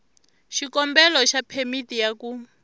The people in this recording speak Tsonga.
xikombelo xa phemiti ya ku